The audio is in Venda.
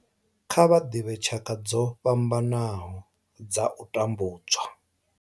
Kha vha ḓivhe tshaka dzo fhambanaho dza u tambudzwa.